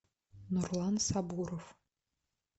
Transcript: нурлан сабуров